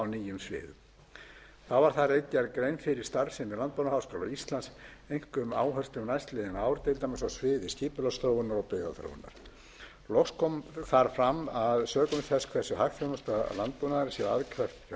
starfsemi landbúnaðarháskóla íslands einkum áherslum næstliðin ár til dæmis á sviði skipulagsþróunar og byggðaþróunar loks kom þar fram að sökum þess hversu hagþjónusta landbúnaðarins sé aðkreppt fjárhagslega